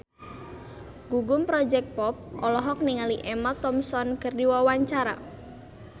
Gugum Project Pop olohok ningali Emma Thompson keur diwawancara